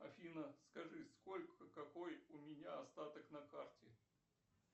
афина скажи сколько какой у меня остаток на карте